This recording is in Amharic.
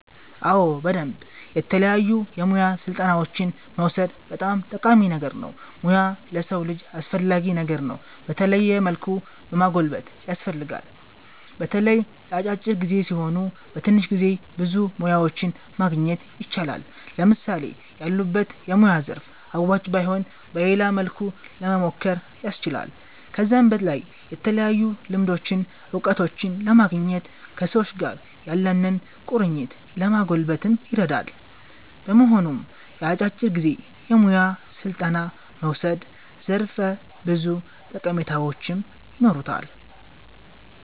አዎ በደምብ የተለያዩ የሙያ ስልጠናዎችን መዉሰድ በጣም ጠቃሚ ነገር ነዉ ሙያ ለሰዉ ልጅ አስፈላጊ ነገር ነዉ በተለያዩ መልኩ ማጎልበት ያስፈልጋል። በተለይ የአጫጭር ጊዜ ሲሆኑ በትንሽ ጊዜ ብዙ ሙያዎችን ማግኘት ይቻላል። ለምሳሌ ያሉበት የሙያ ዘርፍ አዋጭ ባይሆን በሌላ መልኩ ለሞሞከር ያስችላል። ከዛም በላይ የተለያዩ ልምዶችን እዉቀቶችን ለማግኘት ከሰዎች ጋር ያለንን ቁርኝት ለማጎልበት ይረዳል። በመሆኑም የአጫጭር ጊዜ የሙያ ስልጠና መዉሰድ ዘርፈ ብዙ ጠቀሜታዎች ይኖሩታል